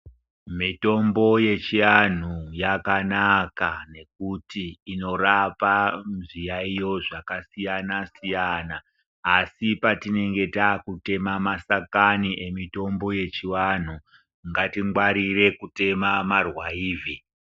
Mitombo yechiantu yakanaka ngekuti inorape zviyaiyo zvakasiyana siyana asi patinenge taakutema mashakani emitombo yechiantu ngatingwarire kutema marwaivhi.